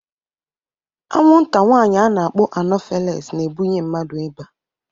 Anwụnta nwanyị ana-akpọ anọfeles na-ebunye mmadu ịba